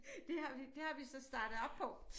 Det har vi det har vi så startet op på